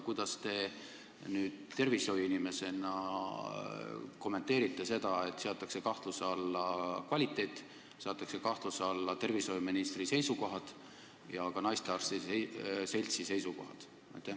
Kuidas te tervishoiuinimesena kommenteerite seda, et seatakse kahtluse alla kvaliteet, seatakse kahtluse alla tervishoiuministri seisukohad ja ka naistearstide seltsi seisukohad?